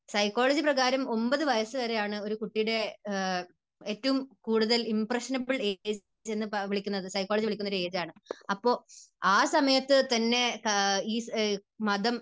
Psychology പ്രകാരം ഒൻപത് വയസ്സുവരെയാണ് ഒരു കുട്ടിയുടെ ഏറ്റവും കൂടുതൽ ഇംപ്രഷനബിൾ ഏജ് എന്ന് വിളിക്കുന്നത്. സൈക്കോളജി വിളിക്കുന്ന ഒരു ഏജ് ആണ്. അപ്പോൾ ആ സമയത്ത്, ആ സമയത്ത് തന്നെ ഈ മതം